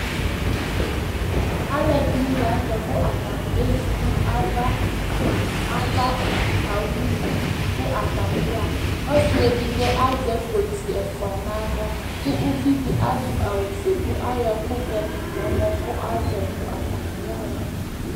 alo ɛdini lantɛ kò atani ezi no ava ava owu li kò atani ya ɣa ɔsi edigbo azɛ kpoti ɛfua n'ala kò uvi di adu awu fue kò ayɔ ɛkò vɛ to n'ɛmɔ kò azɛ yi kò atani ya ɣa